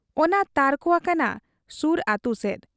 ᱚᱱᱟ ᱛᱟᱨᱠᱚ ᱟᱠᱟᱱᱟ ᱥᱩᱨ ᱟᱹᱛᱩᱥᱮᱫ ᱾